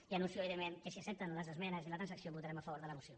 i anuncio evidentment que si accepten les esmenes i la transacció votarem a favor de la moció